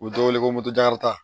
U bɛ dɔ wele ko